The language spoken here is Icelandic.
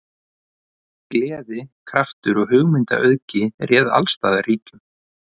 Gleði, kraftur og hugmyndaauðgi réð alls staðar ríkjum.